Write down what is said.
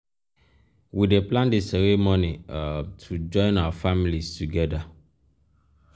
we dey plan di ceremony um to join um our families together.